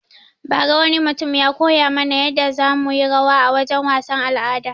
Ba ra wani mutum ya koya mana yadda za muyi rawa a wajen wasan al'ada